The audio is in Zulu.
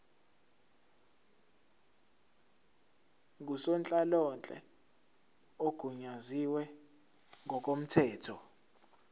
ngusonhlalonhle ogunyaziwe ngokomthetho